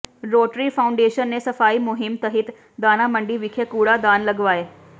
rotary foundation ਨੇ ਸਫ਼ਾਈ ਮੁਹਿੰਮ ਤਹਿਤ ਦਾਣਾ ਮੰਡੀ ਵਿਖੇ ਕੂੜਾ ਦਾਨ ਲਗਵਾਏ